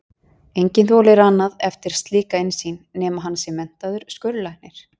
Enginn þolir annan eftir slíka innsýn, nema hann sé menntaður skurðlæknir.